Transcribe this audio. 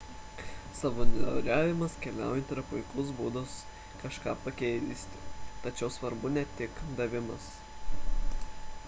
savanoriavimas keliaujant yra puikus būdas kažką pakeisti tačiau svarbu ne tik davimas